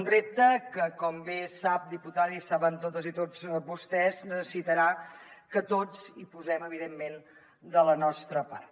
un repte que com bé sap diputada i saben totes i tots vostès necessitarà que tots hi posem evidentment de la nostra part